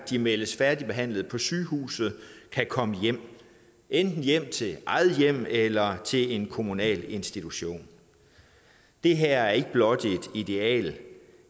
de meldes færdigbehandlet på sygehuset kan komme hjem enten hjem til eget hjem eller til en kommunal institution det her er ikke blot et ideal